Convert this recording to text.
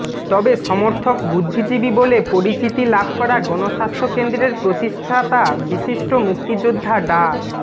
তবে সমর্থক বুদ্ধিজীবী বলে পরিচিতি লাভ করা গণস্বাস্থ্য কেন্দ্রের প্রতিষ্ঠাতা বিশিষ্ট মুক্তিযোদ্ধা ডা